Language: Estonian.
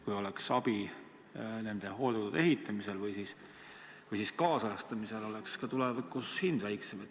Kui oleks abi nende hooldekodude ehitamisel või ajakohastamisel, oleks tulevikus ka hind väikesem.